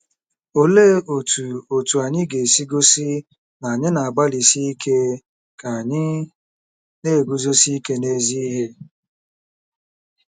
Olee otú otú anyị ga-esi gosi na anyị na-agbalịsi ike ka anyị na-eguzosi ike n’ezi ihe?